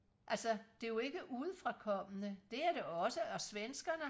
altså det er jo ikke udefrakommende det er det også og svenskerne